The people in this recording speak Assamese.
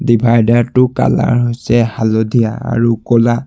ডিভাইডাৰ টো কালাৰ হৈছে হালধীয়া আৰু ক'লা।